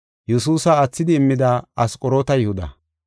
Yesuusa aathidi immida Asqoroota Yihuda.